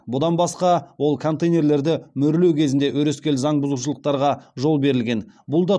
бұдан басқа ол контейнерді мөрлеу кезінде өрескел заң бұзушылықтарға жол берілген бұл ды